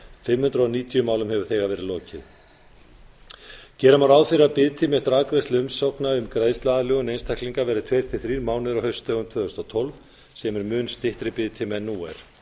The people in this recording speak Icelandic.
fimm hundruð níutíu málum hefur þegar verið lokið gera má ráð fyrir að biðtími eftir afgreiðslu umsókna um greiðsluaðlögun einstaklinga verði tveir til þrír mánuðir á haustdögum tvö þúsund og tólf sem er mun styttri biðtími en nú er